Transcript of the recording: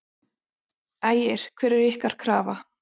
Ægir: Hver er ykkar krafa?